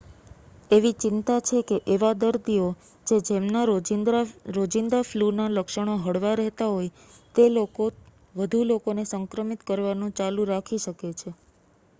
એવી ચિંતા છે કે એવા દર્દીઓ જે જેમના રોજિંદા ફલૂના લક્ષણો હળવા રહેતા હોય તે લોકો વધુ લોકોને સંક્રમિત કરવાનું ચાલુ રાખી શકે